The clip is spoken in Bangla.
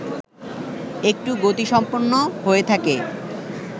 একটু গতিসম্পন্ন হয়ে থাকে